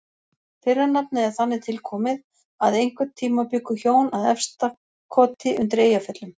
Fyrra nafnið er þannig tilkomið að einhvern tíma bjuggu hjón að Efstakoti undir Eyjafjöllum.